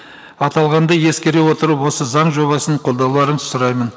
аталғанды ескере отырып осы заң жобасын қолдауларыңызды сұраймын